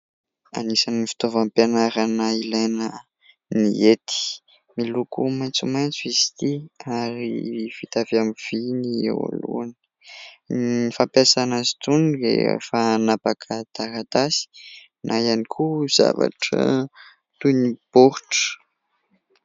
Anisan'ny fitaovam-pianarana ilaina ny hety. Miloko maitsomaitso izy ity ary vita avy amin'ny vy ny eo alohany. Ny fampiasana azy itony rehefa hanapaka taratasy na ihany koa zavatra toy ny baoritra.